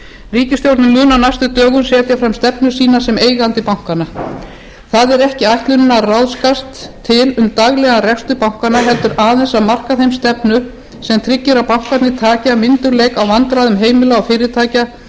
ríkisstjórnin mun á næstu dögum setja fram stefnu sína sem eigandi bankanna það er ekki ætlunin að ráðskast til um daglegan rekstur bankanna heldur aðeins að marka þeim stefnu sem tryggir að bankarnir taki af myndugleik á vandræðum heimila og fyrirtækja